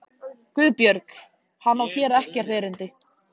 GUÐBJÖRG: Hann á hér ekkert erindi.